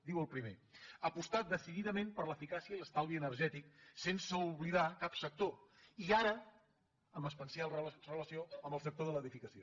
diu el primer apostar decididament per l’eficàcia i l’estalvi energètic sense oblidar cap sector i ara amb especial relació amb el sector de l’edificació